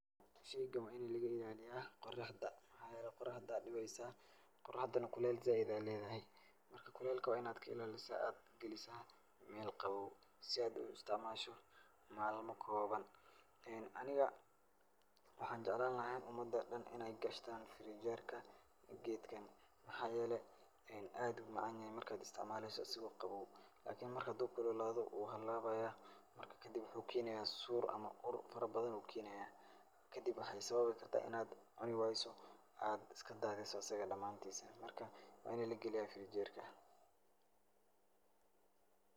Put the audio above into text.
Sheeygan wa ini laga ilaleyah qiraxda waxayeelay qiraxda Aya dibeysah qoraxdana kulele saait Aya leedahay marka kulelka wa Ina ka ilalisoh, si AA u galisoh meel Qawaw setha u isticmashaa malmo koban ee Anika waxanjeclani lahay ini umada dhan Ina kashtan fridge gerka keetgan mxayelay in aad umacanyhay ini maleysoh asogo qawow iklni marbhandu kululathoh wuuhalabaya marka kadib waxu keenya uur farabadhan ayu kenaya kadib waxa sababi kartah inat cunewaysoh aat asg dhamntisa marka asaga Kali ferjerka .